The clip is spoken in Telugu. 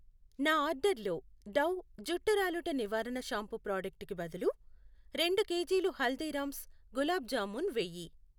నా ఆర్డర్లో డవ్ జుట్టు రాలుట నివారణ షాంపూ ప్రాడక్టు కి బదులు రెండు కేజీలు హల్దీరామ్స్ గులాబ్ జామూన్ వేయి.